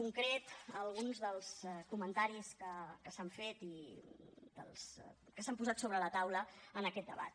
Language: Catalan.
concret a alguns dels comentaris que s’han fet i que s’han posat sobre la taula en aquest debat